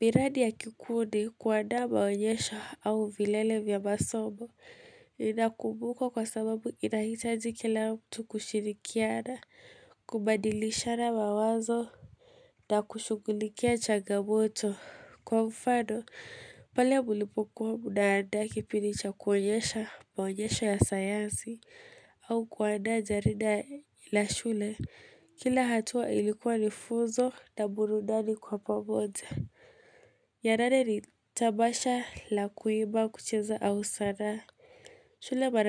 Miradi ya kikundi kuandaa maonyesho au vilele vya masomo. Inakumbuko kwa sababu inahitaji kila mtu kushirikiana. Kubadilishana mawazo. Na kushughulikia changamoto. Kwa mfano, pale mlipokuwa munaandaa kipindi cha kuonyesha maonyesho ya sayansi. Au kuandaa jarida la shule. Kila hatua ilikuwa ni fuzo na burudani kwa pamoja. Ya nane ni tabasha la kuimba, kucheza, au sanaa shule mara.